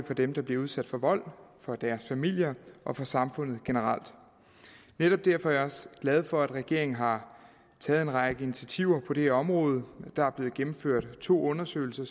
for dem der bliver udsat for vold for deres familier og for samfundet generelt netop derfor er jeg også glad for at regeringen har taget en række initiativer på det her område der er blevet gennemført to undersøgelser